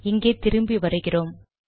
இங்கே திரும்பி வருகிறோம்